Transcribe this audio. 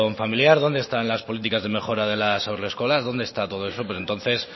familiar dónde están las políticas de mejora de las haurreskolas dónde está todo eso pues entonces